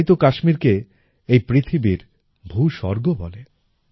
তাই তো কাশ্মীর কে এই পৃথিবীর ভূস্বর্গ বলে